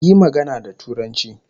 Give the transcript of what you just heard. Yi magana da Turanci